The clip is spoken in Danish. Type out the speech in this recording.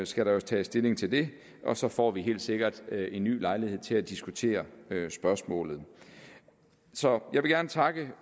skal der jo tages stilling til det og så får vi helt sikkert en ny lejlighed til at diskutere spørgsmålet så jeg vil gerne takke